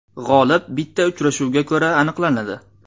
G‘olib bitta uchrashuvga ko‘ra aniqlanadi.